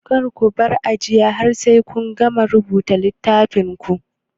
Kar kubar aji har sai kun gama rubuta a littafin ku